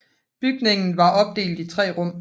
Bygningen var opdelt i tre rum